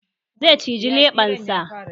Zai cije leɓensa